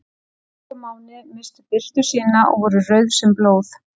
Sól og máni misstu birtu sína og voru rauð sem blóð.